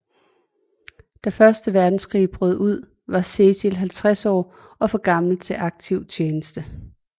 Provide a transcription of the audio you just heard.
Da første verdenskrig brød ud var Cecil 50 år og for gammel til aktiv tjeneste